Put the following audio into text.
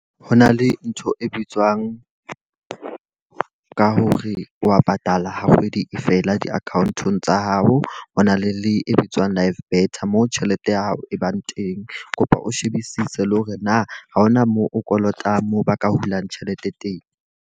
Ho na le ntho e bitswang ka hore wa patala wa kgwedi e fela di-account-ong tsa hao. Ho na le le e bitswang live better moo tjhelete ya hao e bang teng. Kopa o shebisise le hore na ha hona moo o kolota moo ba ka hulang tjhelete teng.